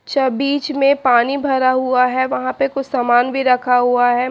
बीच में पानी भरा हुआ है वहां पे कुछ सामान भी रखा हुआ है।